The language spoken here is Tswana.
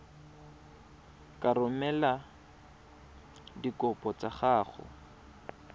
ka romela dikopo tsa gago